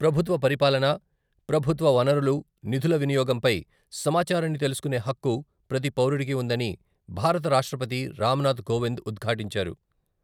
ప్రభుత్వ పరిపాలన, ప్రభుత్వ వనరులు నిధుల వినియోగంపై సమాచారాన్ని తెలుసుకునే హక్కు ప్రతి పౌరుడికి ఉందని భారత రాష్ట్రపతి రాంనాథ్ కోవింద్ ఉద్ఘాటించారు.